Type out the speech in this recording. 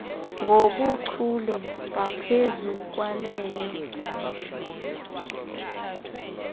ngobuchule ngaphezu kwaleyo